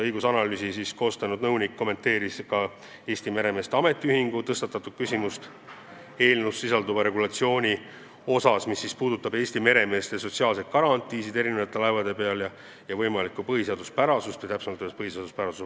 Õigusanalüüsi koostanud nõunik kommenteeris ka Eesti meremeeste ametiühingu tõstatatud küsimust eelnõus sisalduva regulatsiooni kohta, mis puudutab Eesti meremeeste sotsiaalseid garantiisid erinevate laevade peal ja võimalikku vastuolu põhiseadusega.